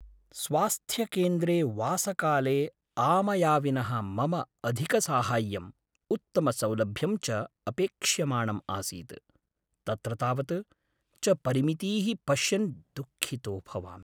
स्वास्थ्यकेन्द्रे वासकाले आमयाविनः मम अधिकसाहाय्यं, उत्तमसौलभ्यं च अपेक्ष्यमाणम् आसीत्, तत्र तावत् च परिमितीः पश्यन् दुःखितो भवामि।